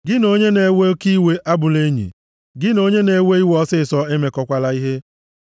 Gị na onye na-ewe oke iwe abụla enyi, gị na onye na-ewe iwe ọsịịsọ emekọkwala ihe,